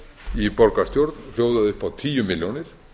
í borgarstjórn hljóðaði upp á tíu milljónir